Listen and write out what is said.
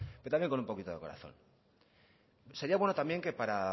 pero también con un poquito de corazón sería bueno también que para